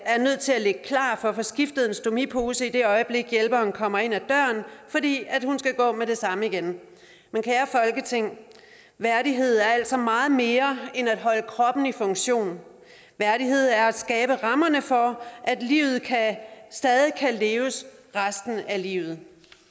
er nødt til at ligge klar for at få skiftet en stomipose i det øjeblik hjælperen kommer ind ad døren fordi hun skal gå med det samme igen men kære folketing værdighed er altså meget mere end at holde kroppen i funktion værdighed er at skabe rammerne for at livet stadig kan leves resten af livet